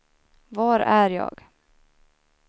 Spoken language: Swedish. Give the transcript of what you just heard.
var är jag